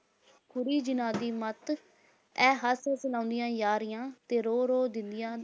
ਖੁੁੁਰੀ ਜਿਨ੍ਹਾਂ ਦੀ ਮੱਤ, ਇਹ ਹੱਸ-ਹੱਸ ਲਾਉਂਂਦੀਆਂ ਯਾਰੀਆਂ, ਤੇੇ ਰੋ-ਰੋ ਦਿੰਦੀਆਂ